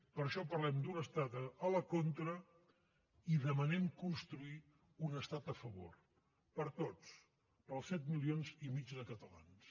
per això parlem d’un estat a la contra i demanem construir un estat a favor per a tots per als set milions i mig de catalans